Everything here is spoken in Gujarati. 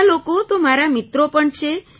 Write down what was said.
ઘણા લોકો તો મારા મિત્રો પણ છે